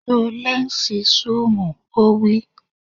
Lo lẹ́ǹsì súùmù! Ó wí.